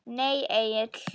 Nei Egill.